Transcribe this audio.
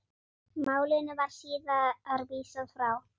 Málinu var síðar vísað frá.